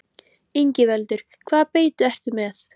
Ingveldur: Hvaða beitu ertu með?